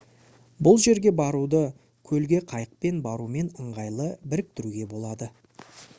бұл жерге баруды көлге қайықпен барумен ыңғайлы біріктіруге болады